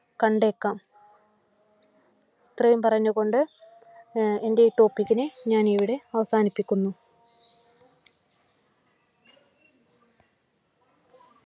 കണ്ടേക്കാം. ഇത്രയും പറഞ്ഞുകൊണ്ട് എൻ്റെ ഈ topic നെ ഞാൻ ഇവിടെ അവസാനിപ്പിക്കുന്നു.